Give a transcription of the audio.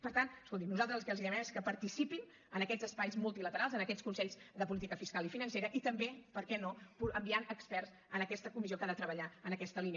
per tant escolti’m nosaltres el que els demanem és que participin en aquests espais multilaterals en aquests consells de política fiscal i financera i també per què no enviant experts a aquesta comissió que ha de treballar en aquesta línia